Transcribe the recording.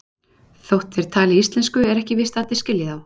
Þótt þeir tali íslensku er ekki víst að allir skilji þá.